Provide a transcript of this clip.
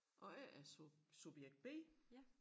Og jeg er subjekt B